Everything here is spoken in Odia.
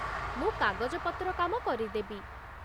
ମୁଁ କାଗଜପତ୍ର କାମ କରିଦେବି।